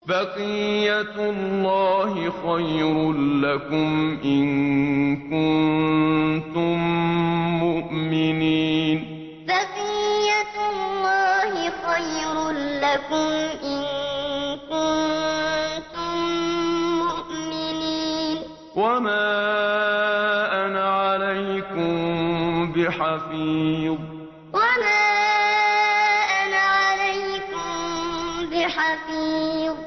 بَقِيَّتُ اللَّهِ خَيْرٌ لَّكُمْ إِن كُنتُم مُّؤْمِنِينَ ۚ وَمَا أَنَا عَلَيْكُم بِحَفِيظٍ بَقِيَّتُ اللَّهِ خَيْرٌ لَّكُمْ إِن كُنتُم مُّؤْمِنِينَ ۚ وَمَا أَنَا عَلَيْكُم بِحَفِيظٍ